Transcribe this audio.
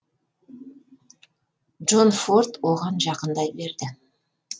джон форд оған жақындай берді